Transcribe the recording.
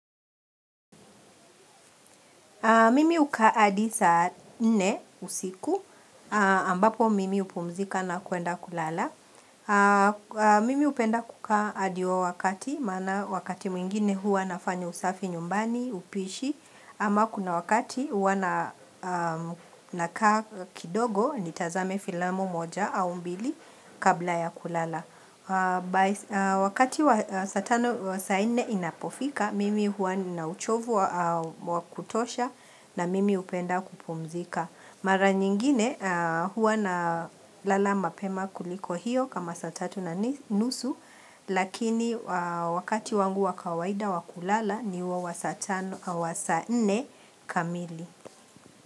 Mimi uka adi saa nne usiku, ambapo mimi hupumzika na kuenda kulala. Mimi upenda kukaa adi huo wakati, maana wakati mwingine hua nafanya usafi nyumbani, upishi, ama kuna wakati huwa na nakaa kidogo nitazame filamu moja au mbili kabla ya kulala. Wakati wa saa tano wa saa nne inapofika, mimi huwa nina uchovu wa kutosha na mimi upenda kupumzika Mara nyingine huwa na lala mapema kuliko hiyo kama satatu na nusu Lakini wakati wangu wa kawaida wa kulala ni huo wa saa tano wa saa nne kamili.